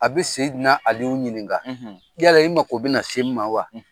A bɛ Ali ɲininka : yala i bɛ na se n ma wa?